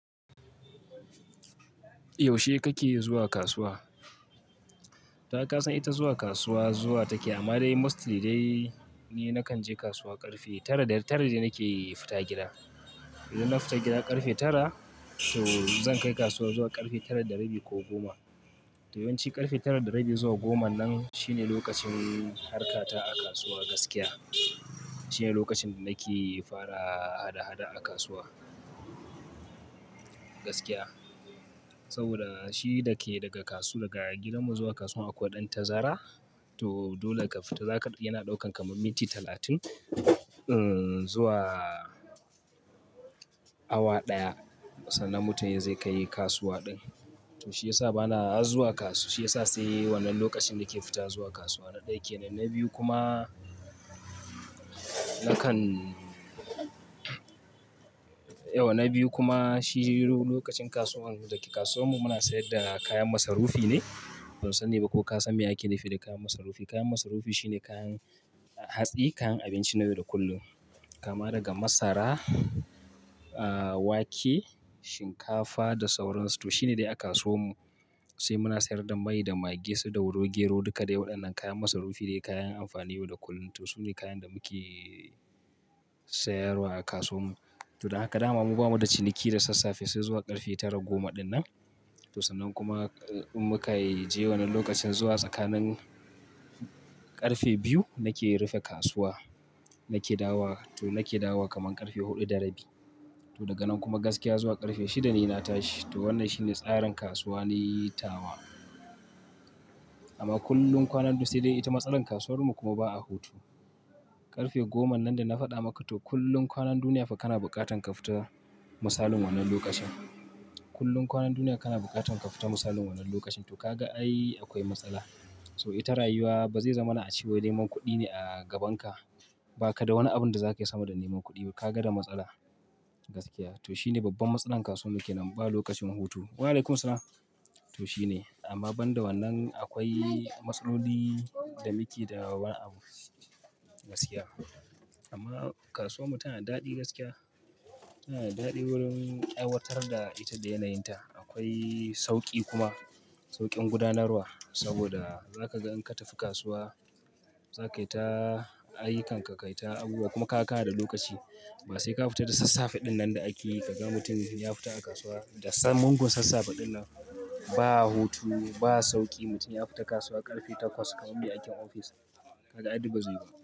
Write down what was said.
Yaushe kake zuwa kasuwa? Ta ai kasan ita zuwa kasuwa zuwa take amma dai mostly dai ni na kan je kasuwa ƙarfe tara. Tara dai nake fita gida. Idan na fita gida ƙarfe tara to zan kai kasuwa zuwa ƙarfe tara da rabi ko goma. To yawanci ƙarfe tara da rabi zuwa goma nan shine lokacin harkata a kasuwa gaskiya. Shine lokacin da nake fara hada-hada a kasuwa gaskiya. Saboda shi da ke daga kasuwa, daga gidanmu zuwa kasuwa akwai ɗan tazara. To dole ka fita, zakaga yana ɗaukan kamar minti talatin zuwa awa ɗaya. Sannan mutum zai kai kasuwa ɗin. To shi yasa bana zuwa kasu, shi yasa sai wannan lokacin nake fita zuwa kasuwa na ɗaya kenan. Na biyu kuma, nakan yawwa na biyu kuma shi lokacin kasuwar, dayake kasuwanmu muna sayar da kayan masarufi ne. Ban sani ba ko ka san me ake nufi da kayan masarufi. Kayan masarufi shine kayan hatsi, kayan abinci na yau da kullum. Kama daga masara, wake, shinkafa da sauransu. To shine dai a kasuwar mu. Sai muna sayar da mai da maggi su dauro, gero. Duka dai waɗannan kayan masarufi dai kayan amfani yau da kullum. To su ne kayan da muke sayarwa a kasuwar mu. To da haka dama mu bamu da ciniki da sassafe sai zuwa ƙarfe tara goma dinnan. To sannan kuma in muka je wannan lokacin zuwa tsakanin ƙarfe biyu nake rufe kasuwa. Nake dawowa, to nake dawowa kaman ƙarfe huɗu da rabi. To daga nan kuma gaskiya zuwa ƙarfe shida ne na tashi. To wannan shine tsarin kasuwa ni tawa. Amma kullum kwanan du--, sai dai ita matsalar kasuwar mu kuma ba a hutu. Ƙarfe goma nan da na faɗa maka, to kullum kwanan duniya fa kana buƙatan ka fita misalin wannan lokacin. Kullum kwanan duniya kana buƙatan ka fita misalin wannan lokacin. To ka ga ai akwai matsala. So ita rayuwa ba zai zama na ace wai. Neman kuɗi ne a gaban ka. Ba ka da wani abin da zakayi sama da neman kuɗi. Kaga da matsala gaskiya. To shine babban matsalan kasuwar mu kenan, ba lokacin hutu. Wa'alaikum salaam. To shine amma banda wannan akwai matsaloli da muke da wani abu gaskiya. Amma kasuwar mu tana da daɗi gaskiya. Tana da daɗi wurin aiwatar da ita da yanayinta. Akwai sauƙi kuma sauƙin gudanarwa. Saboda zaka ga in ka tafi kasuwa, za ka yi ta ayyukanka, ka yi ta abubuwa kuma ka ka da lokaci. Ba sai ka fita da sassafe ɗin nan da akeyi kaga mutum ya fita a kasuwa da mugun sassafe ɗin nan. Ba hutu, ba sauƙi, mutum ya fita kasuwa ƙarfe takwas kaman mai aikin ofis, kaga ai dum bazai yiwu ba.